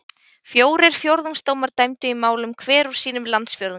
Fjórir fjórðungsdómar dæmdu í málum hver úr sínum landsfjórðungi.